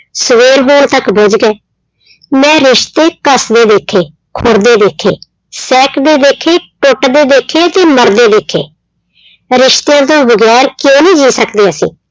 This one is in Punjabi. ਸਵੇਰ ਹੋਣ ਤੱਕ ਬੁੱਝ ਗਏ, ਮੈਂ ਰਿਸਤੇ ਘੱਸਦੇ ਵੇਖੇ, ਖੁਰਦੇ ਵੇਖੇ, ਸਹਿਕਦੇ ਵੇਖੇ, ਟੁੱਟਦੇ ਵੇਖੇ ਤੇ ਮਰਦੇ ਵੇਖੇ ਰਿਸਤਿਆਂ ਤੋਂ ਵਗ਼ੈਰ ਕਿਉਂ ਨੀ ਜੀਅ ਸਕਦੇ ਅਸੀਂ।